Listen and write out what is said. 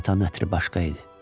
Atanın ətri başqa idi.